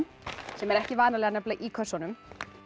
sem er ekki vanalega í kössunum